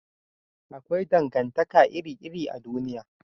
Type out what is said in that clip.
Akwai dangantaka iri iri a duniya